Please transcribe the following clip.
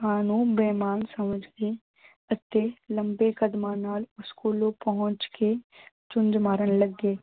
ਕਾਂ ਨੂੰ ਮਹਿਮਾਨ ਸਮਝ ਕੇ ਅਤੇ ਲੰਬੇ ਕਦਮਾਂ ਨਾਲ ਉਸ ਕੋਲੋਂ ਪਹੁੰਚ ਕੇ ਚੁੰਝ ਮਾਰਨ ਲੱਗੇ